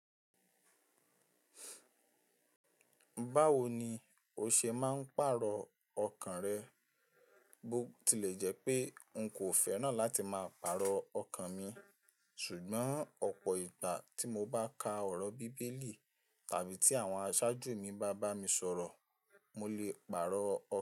Báwo ni o ṣe máa ń pàrọ̀ ọkàn rẹ? Bo tilè jẹ́ pé n kò fẹ́ràn láti máa pàrọ̀ ọkàn mi, ṣùgbọ́n ọ̀pọ̀ ìgbà tí mo bá ka ọ̀rọ̀ Bíbélì tàbí tí àwọn aṣáájú mi bá bá mi sọ̀rọ̀, mo lè pàrọ̀ ọkàn.